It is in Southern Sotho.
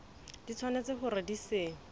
di tshwanetse hore di se